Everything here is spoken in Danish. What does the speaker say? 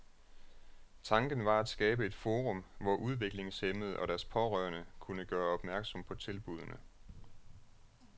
Tanken var at skabe et forum, hvor udviklingshæmmede og deres pårørende kunne gøre opmærksom på tilbudene.